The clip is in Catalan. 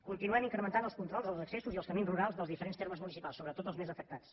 continuem incrementant els controls als accessos i als camins rurals dels diferents termes municipals sobretot dels més afectats